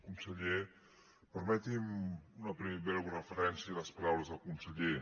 conseller permeti’m una breu referència a les paraules del conseller